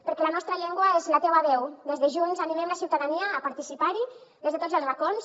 perquè la nostra llengua és la teua veu des de junts animem la ciutadania a participar hi des de tots els racons